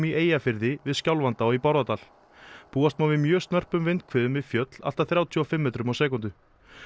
í Eyjafirði við Skjálfanda og í Bárðardal búast má við mjög snörpum vindhviðum við fjöll allt að þrjátíu og fimm metrum á sekúndu